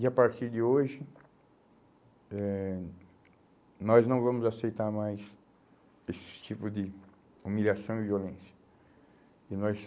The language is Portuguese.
E a partir de hoje, eh nós não vamos aceitar mais esses tipo de humilhação e violência. E nós